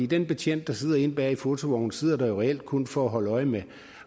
den betjent der sidder inde bag i fotovognen sidder der jo reelt kun for at holde øje med